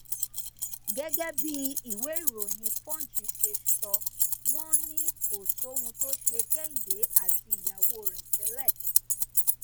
gẹgẹ bí ìwéèròyìn punch ṣe sọ wọn ni kò sóhun tó ṣe kẹ́hìndé àti ìyàwó rẹ tẹlẹ